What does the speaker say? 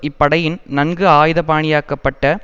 இப்படையில் நன்கு ஆயுத பாணியாக்கப்பட்ட